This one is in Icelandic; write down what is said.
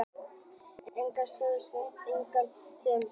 Eigendurnir segja að stuðningsmenn eigi að treysta þeim.